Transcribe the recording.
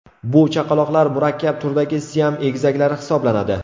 Bu chaqaloqlar murakkab turdagi siam egizaklari hisoblanadi.